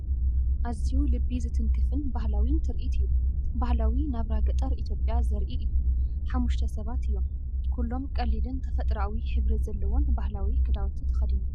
ኣዝዩ ልቢ ዝትንክፍን ባህላዊን ትርኢት እዩ! ባህላዊ ናብራ ገጠር ኢትዮጵያ ዘርኢ እዩ። ሓሙሽተ ሰባት እዮም፤ ኩሎም ቀሊልን ተፈጥሮኣዊ ሕብሪ ዘለዎን ባህላዊ ክዳውንቲ ተኸዲኖም።